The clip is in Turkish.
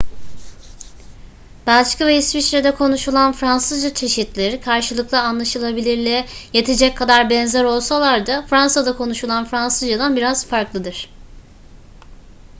belçika ve i̇sviçre'de konuşulan fransızca çeşitleri karşılıklı anlaşılabilirliğe yetecek kadar benzer olsalar da fransa'da konuşulan fransızca'dan biraz farklıdır